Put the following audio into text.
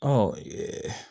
Ɔ